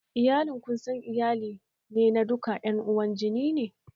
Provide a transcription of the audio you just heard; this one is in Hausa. Iyalin konsanguin iyali ne da duka ƴan uwan jini ne